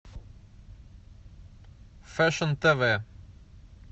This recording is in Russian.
фешн тв